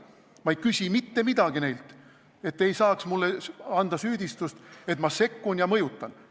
Ma ei küsi neilt mitte midagi, et te ei saaks mind süüdistada, et ma sekkun ja mõjutan.